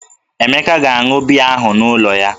Emeka ga-aṅụ biya ahụ n'ụlọ ya